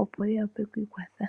opo yi wape oku ikwatha.